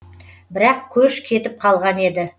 бірақ көш кетіп қалған еді